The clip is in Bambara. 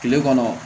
Kile kɔnɔ